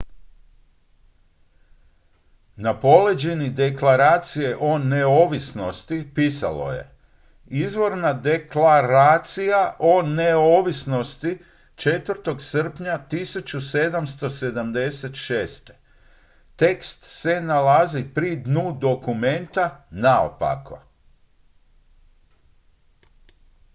"na poleđini deklaracije o neovisnosti pisalo je "izvorna deklaraija o neovisnosti 4. srpnja 1776."". tekst se nalazi pri dnu dokumenta naopako.